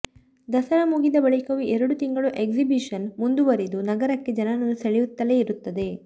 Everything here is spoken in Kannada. ದಸರಾ ಮುಗಿದ ಬಳಿಕವೂ ಎರಡು ತಿಂಗಳು ಎಕ್ಸಿಬಿಶನ್ ಮುಂದುವರಿದು ನಗರಕ್ಕೆ ಜನರನ್ನು ಸೆಳೆಯುತ್ತಲೇ ಇರುತ್ತದೆ